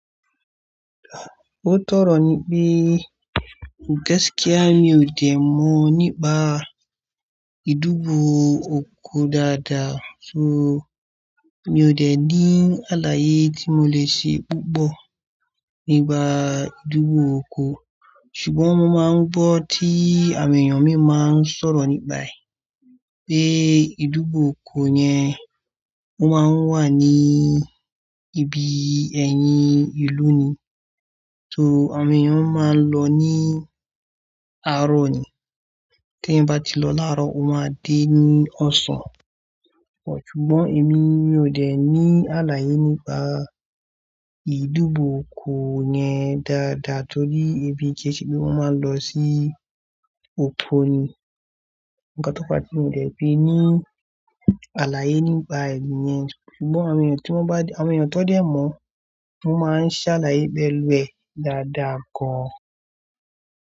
Mo tọrọ ni pé gẹ́gẹ́ kíá mi ò dè mọ nípa ìdúgbò oko dáadáa, so mi ò dè ní àlàyé tí mo lè ṣe púpọ̀ nípa ìdúgbò oko. Ṣùgbọ́n mo máa ń gbọ́ tí àwọn èèyàn mi máa ń sọ̀rọ̀ nígbà yìí pé ìdúgbò oko yẹn wọ́n máa ń wà ní ibi ẹ̀yìn ìlú ni. So àwọn èèyàn máa ń lọ ní àárọ̀ ni. Tí wọ́n bá ti lọ láàárọ̀, wọ́n máa dé ní ọ̀sán. Ṣùgbọ́n èmi, mi ò dè ní àlàyé nípa ìdúgbò oko yẹn dáadáa torí ibi kéékèèké tí wọ́n máa ń lọ sí oko ni. Ǹjẹ́ tó pa tí mi ò lè fi ní àlàyé nípa ẹ̀yin yẹn. Ṣùgbọ́n àwọn èèyàn tí wọ́n bá, àwọn èèyàn tó dè mọ̀, wọ́n máa ń ṣàlàyé bẹ̀rù ẹ dáadáa gan.